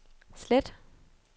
slet